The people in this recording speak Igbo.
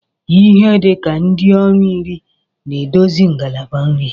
Ihe dị ka ndị ọrụ iri na-edozi ngalaba nri